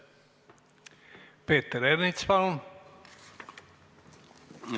Peeter Ernits, palun!